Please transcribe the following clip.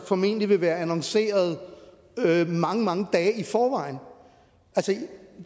formentlig vil være annonceret mange mange dage i forvejen